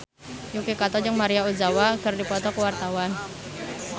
Yuki Kato jeung Maria Ozawa keur dipoto ku wartawan